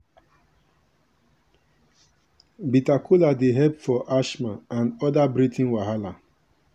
bitter kola dey help for asthma and other breathing wahala.